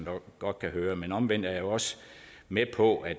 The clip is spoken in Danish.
jo godt kan høre men omvendt er jeg også med på at